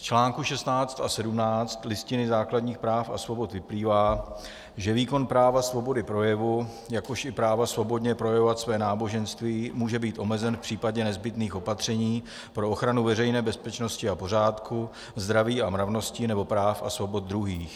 Z článku 16 a 17 Listiny základních práv a svobod vyplývá, že výkon práva svobody projevu, jakož i práva svobodně projevovat své náboženství může být omezen v případě nezbytných opatření pro ochranu veřejné bezpečnosti a pořádku, zdraví a mravnosti nebo práv a svobod druhých.